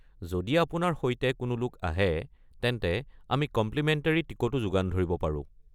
যদি আপোনাৰ সৈতে কোনো লোক আহে, তেন্তে আমি কমপ্লিমেণ্টেৰী টিকটো যোগান ধৰিব পাৰো।